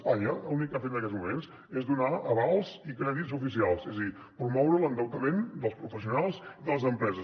espanya l’únic que ha fet en aquests moments és donar avals i crèdits oficials és a dir promoure l’endeutament dels professionals i de les empreses